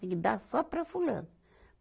Tem que dar só para fulano.